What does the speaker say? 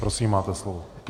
Prosím máte slovo.